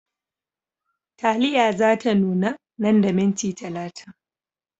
Taliya za ta nuna nan da minti talatin.